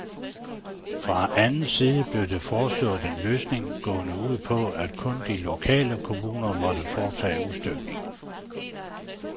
Fra anden side blev der foreslået en løsning, gående ud på, at kun de lokale kommuner måtte foretage udstykningen.